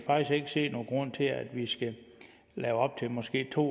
ikke se nogen grund til at vi skal lave op til måske to